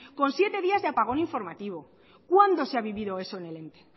con siete días de apagón informativo cuándo se ha vivido eso en el ente